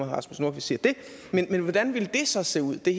rasmus nordqvist siger det men hvordan ville det så se ud det